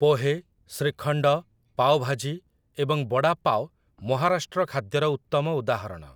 ପୋହେ, ଶ୍ରୀଖଣ୍ଡ, ପାୱ ଭାଜି, ଏବଂ ବଡ଼ା ପାୱ ମହାରାଷ୍ଟ୍ର ଖାଦ୍ୟର ଉତ୍ତମ ଉଦାହରଣ ।